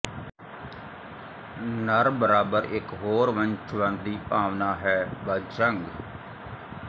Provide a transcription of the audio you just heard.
ਨਰ ਬਰਾਬਰ ਇਕ ਹੋਰ ਵੰਸ਼ਵਾਦੀ ਭਾਵਨਾ ਹੈ ਬਾਜੰਗ